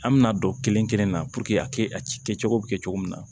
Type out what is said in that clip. An bɛna don kelen kelen na puruke a kɛ a kɛcogo bɛ kɛ cogo min na